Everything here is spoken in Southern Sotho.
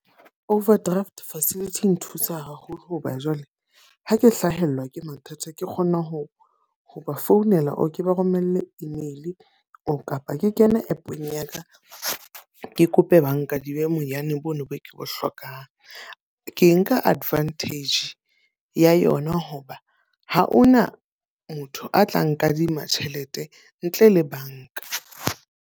Overdraft facility e nthusa haholo hoba jwale, ha ke hlahelwa ke mathata ke kgona ho ho ba founela or ke ba romelle email or kapa ke kena app-ong ya ka. Ke kope ba nkadime bonyane boo bo ke bo hlokang. Ke nka advantage ya yona hoba ha hona motho a tla nkadima tjhelete ntle le banka.